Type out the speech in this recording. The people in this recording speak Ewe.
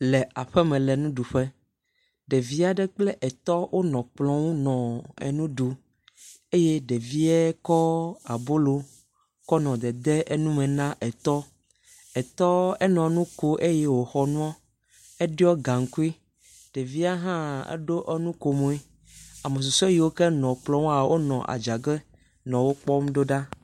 le aƒeme le nuɖuƒe, ɖevia ɖe kple etɔ wonɔ kplɔ ŋu nɔ enu ɖuu, ɖevie kɔ abolo nu dedee nu me na ɖevie, etɔ nɔ enu kom eye wòxɔ nuɔ, eɖɔi gaŋkui. Ɖevia hã eɖo nukomui. Ame susɔ yiwo nɔ ekplɔ ŋu hã le adzage nɔ wokpɔm ɖo ɖa.